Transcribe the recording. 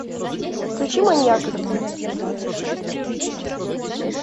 включи маньяк